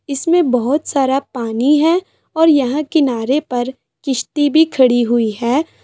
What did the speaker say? इसमें बहुत सारा पानी है और यहाँ किनारे पर किश्ती भी खड़ी हुई हैं।